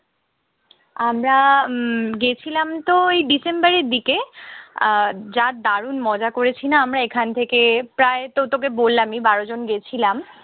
আমরা উম গেছিলামতো ওই ডিসেম্বরের দিকে। আর যা দারুন মজা করেছি না। আমরা এখান থেকে প্রায়তো তোকে বললামই বারো জন গেছিলাম।